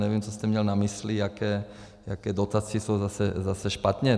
Nevím, co jste měl na mysli, jaké dotace jsou zase špatně.